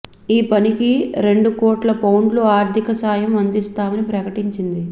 ఈ పనికి రెం డు కోట్ల పౌండ్ల ఆర్థిక సాయం అందిస్తామని ప్రకటించింది